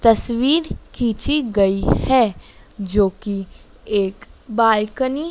तस्वीर खींची गई है जो की एक बालकनी --